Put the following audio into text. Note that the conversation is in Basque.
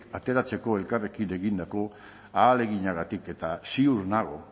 ateratzeko elkarrekin egindako ahaleginagatik eta ziur nago